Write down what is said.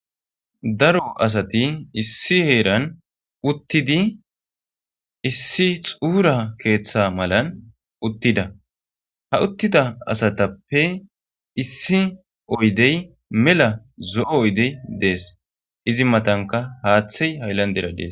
Daro asati issi heeran uttidi issi xuura keeththa malan uttida ha uttida asatappe issi oydey mela zo'o oydey dees izi matanka haaththey hayllan deradees.